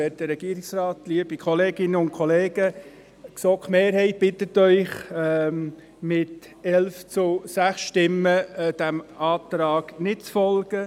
Die GSoK-Mehrheit bittet Sie mit 11 zu 6 Stimmen, diesem Antrag zu folgen.